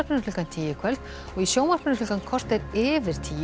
klukkan tíu í kvöld og í sjónvarpi klukkan korter yfir tíu